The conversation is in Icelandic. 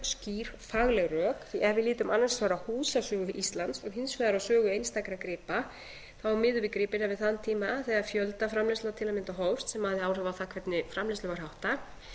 skýr fagleg rök því að ef við lítum annars vegar á húsasögu íslands og hins vegar á sögu einstakra gripa miðum við gripina við þann tíma þegar fjöldaframleiðsla til að mynda hófst sem hafði áhrif á það hvernig framleiðslu var háttað